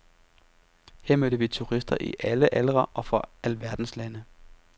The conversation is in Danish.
Her mødte vi turister i alle aldre og fra alverdens lande.